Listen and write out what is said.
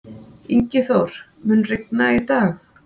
Ingiþór, mun rigna í dag?